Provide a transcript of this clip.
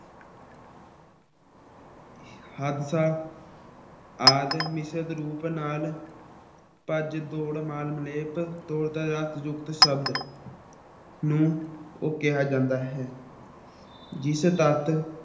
ਹਾਦਸਾ ਆਦਿ ਮਿਸ਼ਰਤ ਰੂਪ ਨਾਲ ਭੱਜ ਦੌੜ ਨਾਲ ਨੂੰ ਕਿਹਾ ਜਾਂਦਾ ਹੈ ਜਿਸ ਤੱਤ